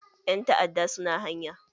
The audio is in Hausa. Ƴan ta'adda su na hanya.